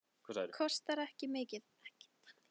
Kostar ekki mikið.